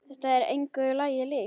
Þetta er engu lagi líkt.